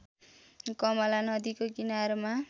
कमला नदीको किनारमा